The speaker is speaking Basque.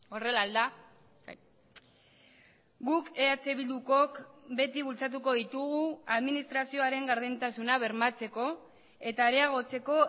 horrela al da guk eh bildukook beti bultzatuko ditugu administrazioaren gardentasuna bermatzeko eta areagotzeko